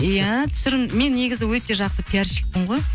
иә түсірім мен негізі өте жақсы пиарщикпін ғой